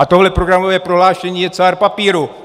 A tohle programové prohlášení je cár papíru.